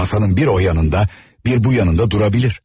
Masanın bir o yanında, bir bu yanında dura bilər.